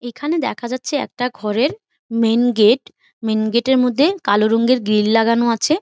এইখানে দেখা যাচ্ছে একটা ঘরের মেন গেট মেন গেট -এর মধ্যে কালো রঙের গ্রিল লাগানো আছে।